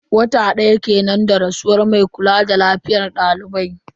Wata daya kenan da rasuwar mai kula da lafiyar daliban.